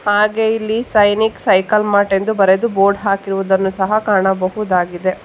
ಹಾಗೆ ಇಲ್ಲಿ Sainik cycle mart ಎಂದು ಬರೆದು ಬೋರ್ಡ್ ಹಾಕಿರುವುದನ್ನು ಸಹ ಕಾಣಬಹುದಾಗಿದೆ.